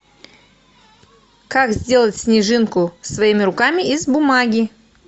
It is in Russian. как сделать снежинку своими руками из бумаги